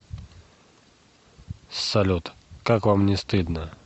салют как вам не стыдно